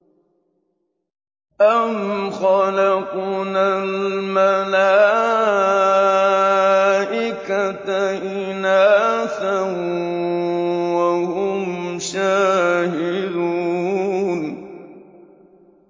أَمْ خَلَقْنَا الْمَلَائِكَةَ إِنَاثًا وَهُمْ شَاهِدُونَ